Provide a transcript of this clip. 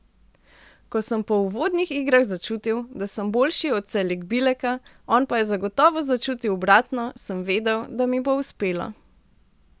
Ko sem po uvodnih igrah začutil, da sem boljši od Celikbileka, on pa je zagotovo začutil obratno, sem vedel, da mi bo uspelo.